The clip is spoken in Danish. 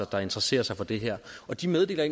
der interesserer sig for det her og de meddeler